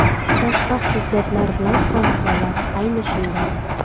Boshqa xususiyatlar bilan ham holat ayni shunday.